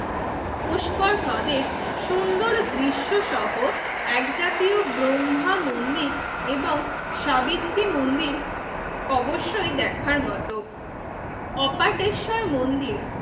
পুষ্কর হ্রদের সুন্দর দৃশ্যসহ এক জাতীয় ব্রহ্মা মন্দির এবং সাবিত্রী মন্দির অবশ্যই দেখার মত অপাতেশ্বর মন্দির